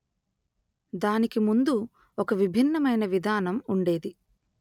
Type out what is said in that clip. దానికి ముందు ఒక విభిన్నమైన విధానం ఉండేది